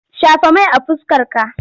Shafa mai a fuskarka!